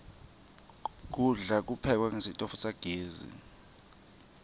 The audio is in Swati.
kudla kuphekwe ngesitfu sagezi